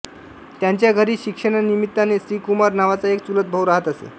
त्यांच्या घरी शिक्षणानिमित्ताने श्रीकुमार नावाचा एक चुलतभाऊ राहत असे